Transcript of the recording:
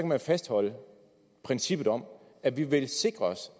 man fastholde princippet om at vi vil sikre os